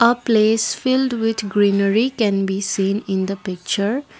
a place filled with greenery can be seen in the picture.